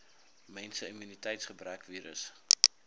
menslike immuniteitsgebrekvirus